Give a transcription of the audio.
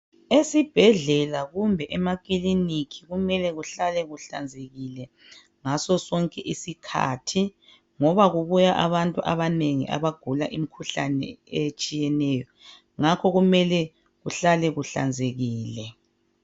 Esibhedlela kumbe emakiliniki kumele kuhlale kuhlanzekile ngasosonke isikhathi ngoba kubuya abantu abanengi abagula imikhuhlane etshiyeneyo ngakho kumele kuhlale kuhlanzekile.